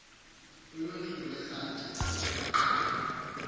uluhlu lwezaci namaqhalo